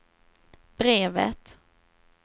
brevet